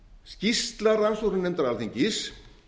skýrsla rannsóknarnefndar alþingis